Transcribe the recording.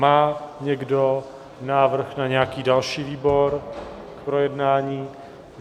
Má někdo návrh na nějaký další výbor k projednání?